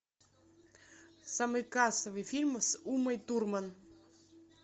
самый кассовый фильм с умой турман